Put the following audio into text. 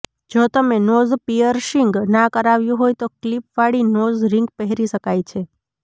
જો તમે nose piercing ના કરાવ્યું હોય તો ક્લીપ વાળી નોઝ રિંગ પહેરી શકાય છે